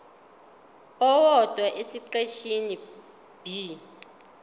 owodwa esiqeshini b